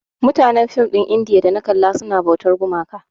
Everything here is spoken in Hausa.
Mutanen film ɗin indiya da na kalla suna bautar gumaka.